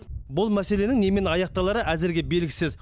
бұл мәселенің немен аяқталары әзірге белгісіз